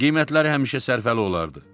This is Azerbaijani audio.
Qiymətləri həmişə sərfəli olardı.